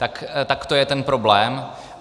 Tak to je ten problém.